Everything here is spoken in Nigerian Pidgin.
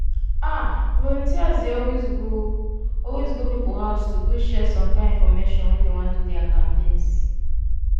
ah! volunteers dey always go always go people house to go share some kind infomation when dey wan do their campaigns.